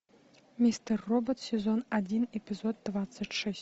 мистер робот сезон один эпизод двадцать шесть